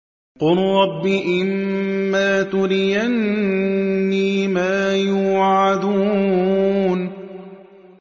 قُل رَّبِّ إِمَّا تُرِيَنِّي مَا يُوعَدُونَ